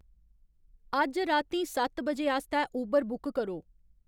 अज्ज रातीं सत्त बजे आस्तै उबर बुक करो